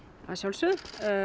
að sjálfsögðu